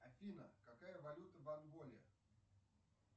афина какая валюта в анголе